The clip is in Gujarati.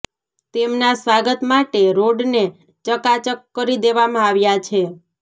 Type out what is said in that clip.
તેમના સ્વાગત માટે રોડને ચકાચક કરી દેવામાં આવ્યા છે